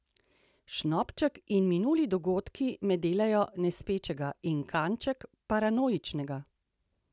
Šnopček in minuli dogodki me delajo nespečnega in kanček paranoičnega.